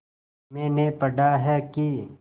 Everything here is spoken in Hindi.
मैंने पढ़ा है कि